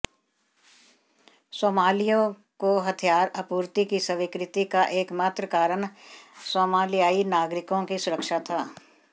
Somalia को हथियार आपूर्ति की स्वीकृति का एकमात्र कारण सोमालियाई नागरिकों की सुरक्षा था